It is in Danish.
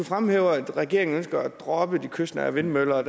fremhæver at regeringen ønsker at droppe de kystnære vindmøller